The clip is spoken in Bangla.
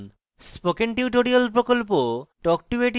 spoken tutorial প্রকল্প talk to a teacher প্রকল্পের অংশবিশেষ